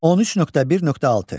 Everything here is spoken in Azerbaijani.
13.1.6.